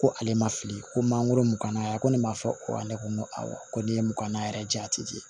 Ko ale ma fili ko mangoro mugan na a ko ne ma fɔ ne ko n ko awɔ ko ne ye mugan yɛrɛ di yan a ti di